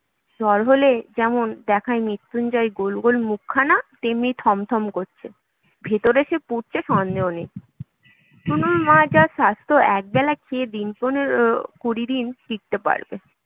জ্বর হলে যেমন দেখায়, মৃত্যুঞ্জয়ের গোলগোল মুখখানা তেমনি থমথম করছে। ভেতরে সে পুড়ছে সন্দেহ নেই টুনুর মার যা স্বাস্থ্য, একবেলা খেয়ে দিন পনেরো কুড়ি দিন টিকতে পারবে